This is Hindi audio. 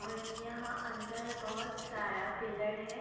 ओर यहा अंदर बहुत सारा पिलर है।